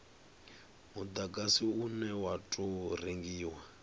mudagasi une wa tou rengiwa